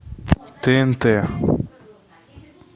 тнт